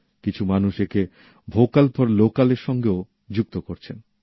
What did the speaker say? কিছু মানুষ একে ভ্যোকাল ফর ল্যোকাল এর সঙ্গেও যুক্ত করছেন